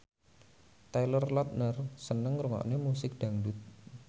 Taylor Lautner seneng ngrungokne musik dangdut